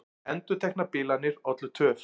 Endurteknar bilanir ollu töf